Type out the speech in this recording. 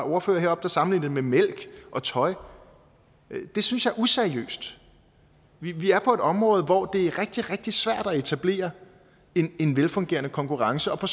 ordfører heroppe der sammenlignede det med mælk og tøj det synes jeg er useriøst vi er på et område hvor det er rigtig rigtig svært at etablere en velfungerende konkurrence på